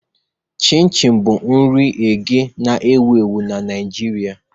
Chin Chin bụ nri eghe na-ewu ewu na Naịjirịa.